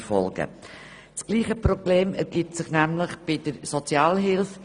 Dasselbe Problem ergibt sich bei der Sozialhilfe.